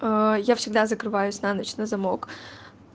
я всегда закрываюсь на ночь на замок